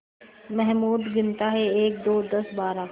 महमूद गिनता है एकदो दसबारह